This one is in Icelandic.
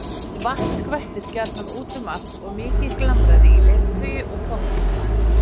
Vatn skvettist gjarnan út um allt og mikið glamraði í leirtaui og pottum.